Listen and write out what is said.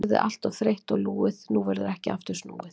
Orðið allt of þreytt og lúið, nú verður ekki aftur snúið.